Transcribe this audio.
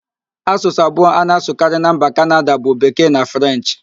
Asụsụ abụọ a na-asụkarị na mba Kanada bụ Bekee na Frenchị